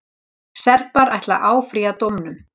Serbar ætla að áfrýja dómnum.